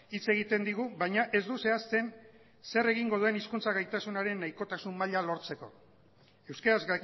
hitz egiten digu baina ez du zehazten zer egingo duen hizkuntza gaitasunaren nahikotasun maila lortzeko euskaraz